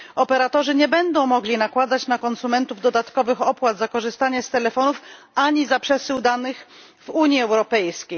operatorzy nie będą mogli nakładać na konsumentów dodatkowych opłat za korzystanie z telefonów, ani za przesył danych w Unii Europejskiej.